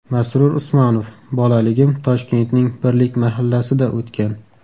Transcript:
Masrur Usmonov : Bolalagim Toshkentning Birlik mahallasida o‘tgan.